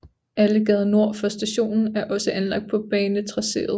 Allegade nord for stationen er også anlagt på banetracéet